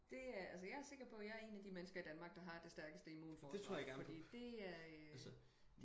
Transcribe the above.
Det er altså jeg er sikker på jeg er en af de mennesker i Danmark der har det stærkeste immunforsvar fordi det er øh